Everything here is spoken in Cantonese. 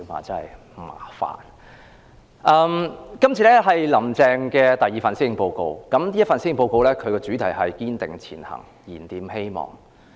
這是"林鄭"的第二份施政報告，主題是"堅定前行燃點希望"。